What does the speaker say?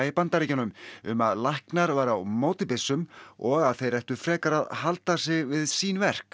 Bandaríkjunum um að læknar væru á móti byssum og að þeir ættu frekar að halda sig við sín verk